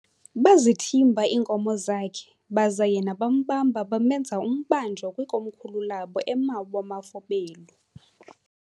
Bazithimba iinkomo zakhe, baza yena bambamba bamenza umbanjwa kwikomkhulu labo eMawa-mafobelu.